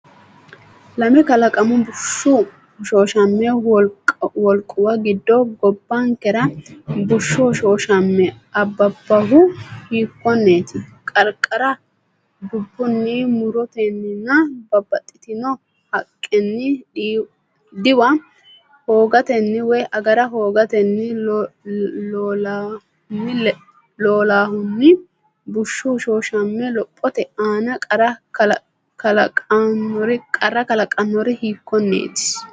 Lame kalaqamu bushshu hoshooshama wolquwa giddo gobbankera bushshu hoshooshama abbabbohu hiikkonneeti? Qarqara dubbunni, mu’rotenninna babbaxxitino haqqenni diwa hoogatenni woy agara hoogatenni loolahunni bushshu hoshooshame lophote aana qarra kalaqannori hiikkonneeti?